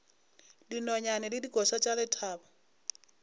dinonyane le dikoša tša lethabo